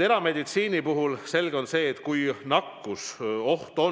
Erameditsiini puhul on selge, et kui on nakkusoht,